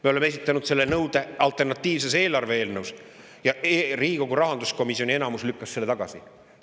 Me oleme esitanud selle nõude alternatiivses eelarves ja Riigikogu rahanduskomisjoni enamus lükkas selle tagasi.